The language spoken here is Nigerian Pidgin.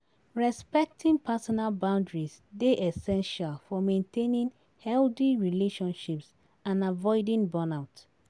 Respecting personal boundaries dey essential for maintaining healthy relationships and avoiding burnout.